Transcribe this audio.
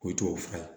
Ko tubabu fura ye